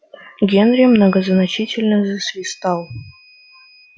генри многозначительно засвистал